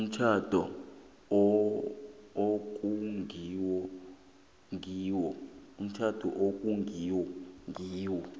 umtjhado okungenwe kiwo